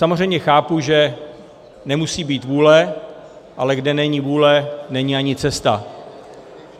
Samozřejmě chápu, že nemusí být vůle, ale kde není vůle, není ani cesta.